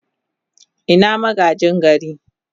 Ina magaji gari?